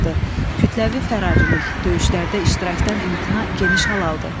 Kütləvi fərarilik, döyüşlərdə iştirakdan imtina geniş hal aldı.